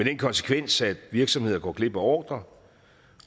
den konsekvens at virksomheder går glip af ordrer